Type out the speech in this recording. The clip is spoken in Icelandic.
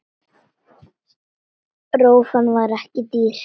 Rófan var ekki dýr.